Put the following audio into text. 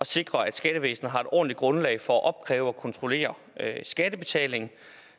sikre at skattevæsenet har et ordentligt grundlag for at opkræve og kontrollere skattebetaling